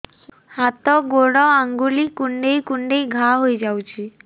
ହାତ ଗୋଡ଼ ଆଂଗୁଳି କୁଂଡେଇ କୁଂଡେଇ ଘାଆ ହୋଇଯାଉଛି